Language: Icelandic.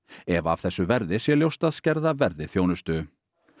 ef af þessu verði sé ljóst að skerða verði þjónustu